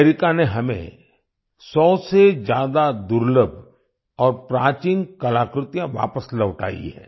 America ने हमें सौ से ज्यादा दुर्लभ और प्राचीन कलाकृतियाँ वापस लौटाई हैं